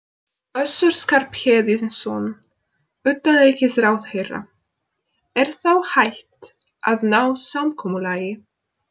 Össur Skarphéðinsson, utanríkisráðherra: Er þá hægt að ná samkomulagi?